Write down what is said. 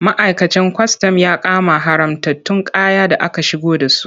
Ma'aikacin kwastam ya kama haramtattun kaya da aka shigo da su.